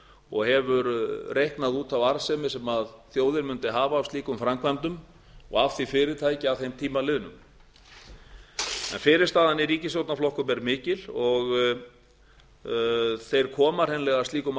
og hefur reiknað út þá arðsemi sem þjóðin mundi hafa af slíkum framkvæmdum og af því fyrirtækja að þeim tíma liðnum en fyrirstaðan í ríkisstjóaanrflokk um er mikil og þeir koma hreinlega slíkum